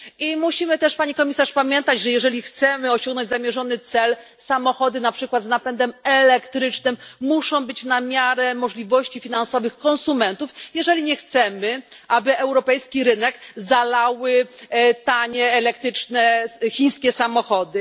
I musimy też, Pani Komisarz, pamiętać, że jeżeli chcemy osiągnąć zamierzony cel, samochody na przykład z napędem elektrycznym muszą być na miarę możliwości finansowych konsumentów, jeżeli nie chcemy, aby europejski rynek zalały tanie elektryczne chińskie samochody.